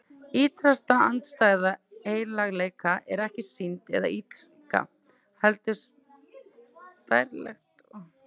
Ýtrasta andstæða heilagleika er ekki synd eða illska, heldur stærilæti og sjálfsréttlæting.